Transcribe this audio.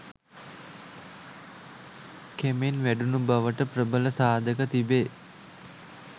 කෙමෙන් වැඩුණු බවට ප්‍රබල සාධක තිබේ.